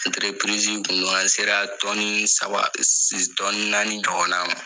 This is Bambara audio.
kun do an sera tɔni saba si tɔni naani ɲɔgɔn na ma.